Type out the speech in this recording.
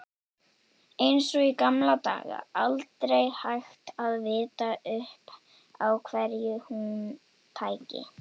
Eins og í gamla daga, aldrei hægt að vita upp á hverju hún tæki.